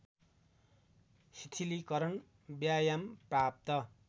शिथिलीकरण व्यायाम प्रात